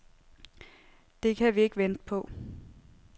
Det kan vi ikke vente på.